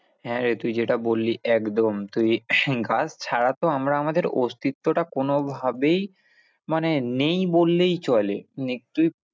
হ্যাঁ, রে তুই যেটা বললি একদম তুই গাছ ছাড়া তো আমরা আমাদের অস্তিত্বটা কোনোভাবেই মানে নেই বললেই চলে।